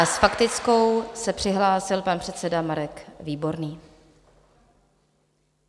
A s faktickou se přihlásil pan předseda Marek Výborný.